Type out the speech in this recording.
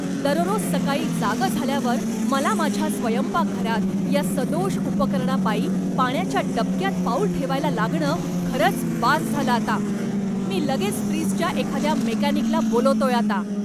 दररोज सकाळी जागं झाल्यावर मला माझ्या स्वयंपाकघरात या सदोष उपकरणापायी पाण्याच्या डबक्यात पाऊल ठेवायला लागणं खरंच बास झालं आता! मी लगेच फ्रिजच्या एखाद्या मेकॅनिकला बोलावतोय आता.